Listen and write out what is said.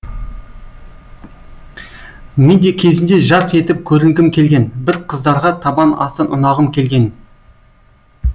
мен де кезінде жарқ етіп көрінгім келген бір қыздарға табан асты ұнағым келген